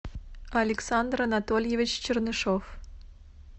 александр анатольевич чернышов